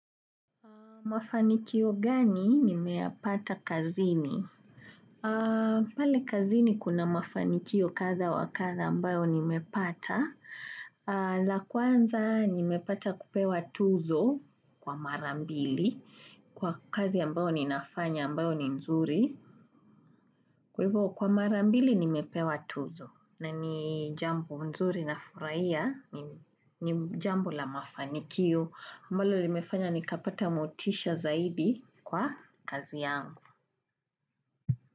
Mafanikio gani nimeyapata kazini? Pale kazini kuna mafanikio kadha wa kadha ambayo nimepata. La kwanza nimepata kupewa tuzo kwa mara mbili. Kwa kazi ambayo ninafanya ambayo ni nzuri. Kwa marambili nimepewa tuzo. Na ni jambo nzuri nafurahia. Ni jambo la mafanikio. Ambalo limefanya nikapata motisha zaidi kwa kazi yangu.